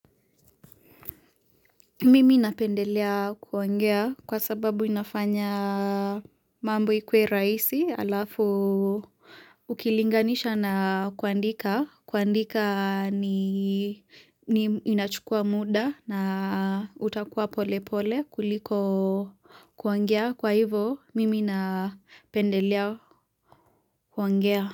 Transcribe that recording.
Mimi napendelea kuongea kwa sababu inafanya mambo ikuwe rahisi alafu ukilinganisha na kuandika kuandika ni inachukua muda na utakuwa pole pole kuliko kuongea kwa hivo mimi napendelea kuongea.